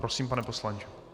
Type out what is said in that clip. Prosím, pane poslanče.